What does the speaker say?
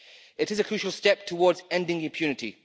It is a crucial step towards ending impunity.